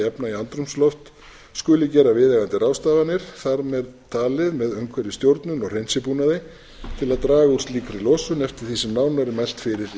efna í andrúmsloft skuli gera viðeigandi ráðstafanir þar með talin með umhverfisstjórnun og hreinsibúnaði til að draga úr slíkri losun eftir því sem nánar er mælt fyrir um í